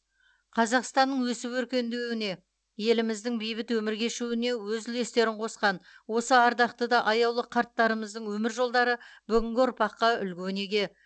қазақстанның өсіп өркендеуіне еліміздің бейбіт өмір кешуіне өз үлестерін қосқан осы ардақты да аяулы қарттарымыздың өмір жолдары бүгінгі ұрпаққа үлгі өнеге